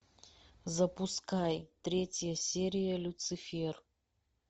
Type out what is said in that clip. запускай третья серия люцифер